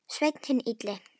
Sveinn hinn illi.